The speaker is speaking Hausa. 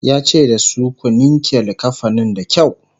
yace da su "ku ninke linkafanin da kyau!"